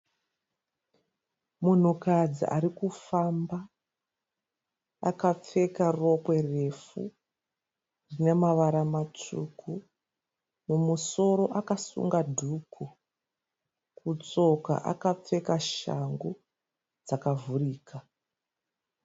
Munhukadzi arikufamba, akapfeka rokwe refu rine mavara matsvuku. Mumusoro akasunga dhuku, kutsoka akapfeka shangu dzakavhurika.